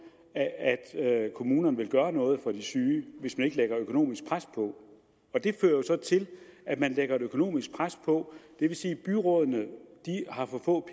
at at kommunerne vil gøre noget for de syge hvis man ikke lægger økonomisk pres på og det fører jo så til at man lægger et økonomisk pres på det vil sige at byrådene har for få